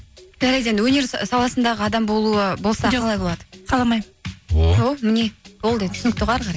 жарайды енді өнер саласындағы адам болуы болса қаламаймын о міне болды енді түсінікті ғой әрі қарай